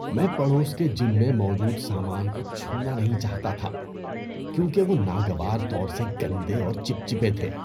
میں پڑوس کے جم میں موجود سامان کو چھونا نہیں چاہتا تھا کیونکہ وہ ناگوار طور سے گندے اور چپچپے تھے۔